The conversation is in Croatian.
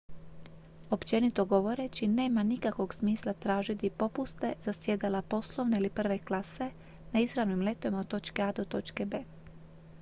općenito govoreći nema nikakvog smisla tražiti popuste za sjedala poslovne ili prve klase na izravnim letovima od točke a do točke b